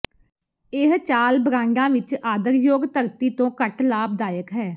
ਇਹ ਚਾਲ ਬਰਾਂਡਾਂ ਵਿਚ ਆਦਰਯੋਗ ਧਰਤੀ ਤੋਂ ਘੱਟ ਲਾਭਦਾਇਕ ਹੈ